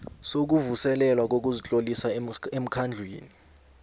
sokuvuselelwa kokuzitlolisa emkhandlwini